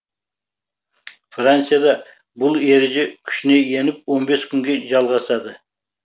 францияда бұл ереже күшіне еніп он бес күнге жалғасады